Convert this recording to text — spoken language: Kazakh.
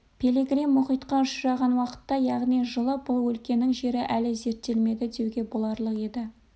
пилигрим мұхитқа ұшыраған уақытта яғни жылы бұл өлкенің жері әлі зерттелмеді деуге боларлық еді